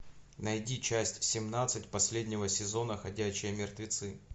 найди часть семнадцать последнего сезона ходячие мертвецы